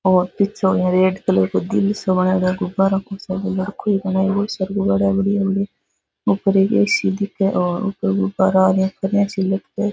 और पीछे ओ रेड कलर काे दिल सो बनायेड़ो गुब्बारों को सो ऊपर एक ए.सी. दिखे और ऊपर गुब्बारा --